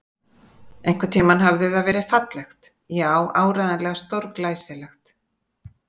Einhvern tímann hafði það verið fallegt, já, áreiðanlega stórglæsilegt.